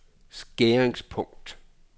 skæringspunkt